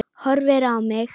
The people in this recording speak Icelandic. Horfir á mig.